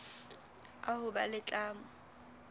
a ho ba le tlamo